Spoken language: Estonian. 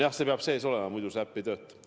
Jah, see peab sees olema, muidu see äpp ei tööta.